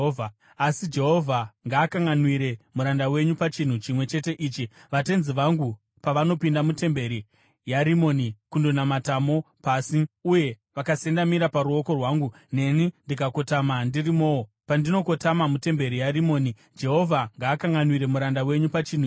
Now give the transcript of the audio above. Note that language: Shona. Asi Jehovha ngaakanganwire muranda wenyu pachinhu chimwe chete ichi: Vatenzi vangu pavanopinda mutemberi yaRimoni kundonamatamo pasi, uye vakasendamira paruoko rwangu, neni ndikakotama ndirimowo, pandinokotama mutemberi yaRimoni, Jehovha ngaakanganwire muranda wenyu pachinhu ichi.”